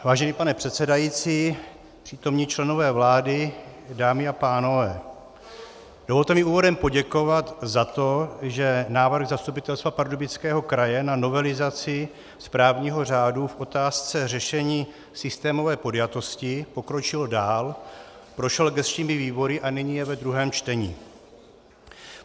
Vážený pane předsedající, přítomní členové vlády, dámy a pánové, dovolte mi úvodem poděkovat za to, že návrh Zastupitelstva Pardubického kraje na novelizaci správního řádu v otázce řešení systémové podjatosti pokročil dál, prošel gesčními výbory a nyní je ve druhém čtení.